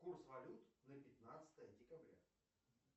курс валют на пятнадцатое декабря